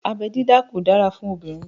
Abẹ́ dídá kò dára fún obìnrin